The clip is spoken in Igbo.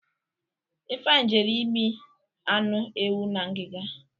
Ifeanyi jere imi anụ ewu na ngiga.